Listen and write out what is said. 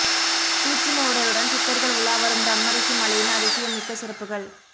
சூட்சும உடலுடன் சித்தர்கள் உலாவரும் பிரும்மரிஷி மலையின் அதிசம் மிக்க சிறப்புகள்